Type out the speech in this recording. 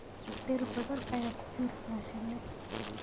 Dhir badan ayaa ku tiirsan shinni.